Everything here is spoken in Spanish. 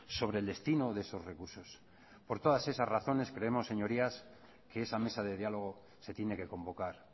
sobre el destino de esos recursos por todas esas razones creemos señorías que esa mesa de diálogo se tiene que convocar